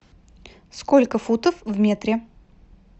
сколько футов в метре